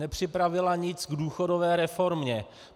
Nepřipravila nic k důchodové reformě.